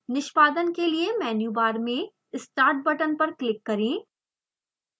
निष्पादन के लिए मेन्यु बार में start बटन पर क्लिक करें